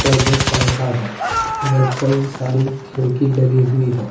और दो पंखा है इधर कई सारी खिड़की लगी हुई है।